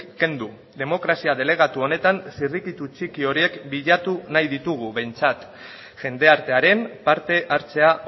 kendu demokrazia delegatu honetan zirrikitu txiki horiek bilatu nahi ditugu behintzat jendartearen parte hartzea